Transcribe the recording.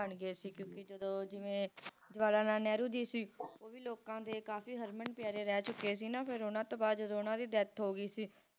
ਬਣ ਗਏ ਸੀ ਕਿਉਕਿ ਜਦੋ ਜਿਵੇ ਜਵਾਹਰ ਲਾਲ ਨਹਿਰੂ ਜੀ ਵੀ ਲੋਕਾਂ ਦੇ ਕਾਫੀ ਹਰਮਨ ਪਿਆਰੇ ਰਹਿ ਚੁਕੇ ਸੀ ਨਾ ਫਿਰ ਓਹਨਾ ਤੋਂ ਬਾਅਦ ਜਦੋ ਓਹਨਾ ਦੀ death ਹੋ ਗਈ ਸੀ